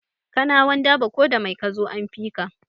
Kanawan dabo ko da mai kazo an fika